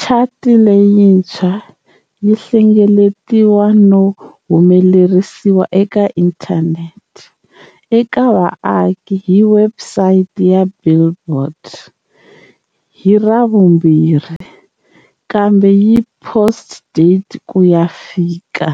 Chati leyintshwa yi hlengeletiwa no humelerisiwa eka inthanete eka vaaki hi webusayiti ya"Billboard" hi Ravumbirhi kambe yi post-date ku ya fika